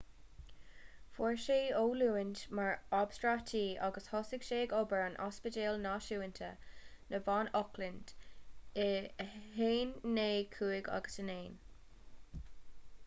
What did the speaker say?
fuair sé oiliúint mar obstatraí agus thosaigh sé ag obair in ospidéal náisiúnta na mban auckland i 1959